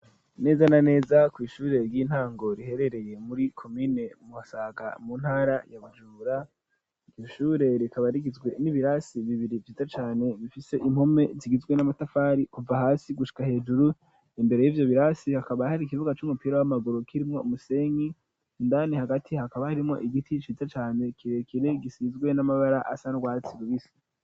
Neza na neza kw'ishure ry'intango riherereye muri komine Musaka mu ntara ya bujumbura iryo shure rikaba rigizwe n'ibirasi bibiri vyiza cane bifise impome zigizwe n'amatafari kuva hasi gushika hejuru imbere yivyo birasi hakaba hari ikibuga c'umupira w'amaguru kirimwo umusenyi indani hagati hakaba harimwo igiti ciza cane kirekire gisizwe n'amabara asa n'urwatsi rubisi.